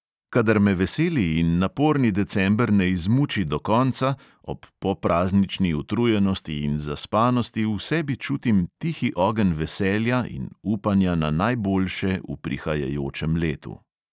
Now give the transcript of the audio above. Kadar me veseli in naporni december ne izmuči do konca, ob popraznični utrujenosti in zaspanosti v sebi čutim tihi ogenj veselja in upanja na najboljše v prihajajočem letu.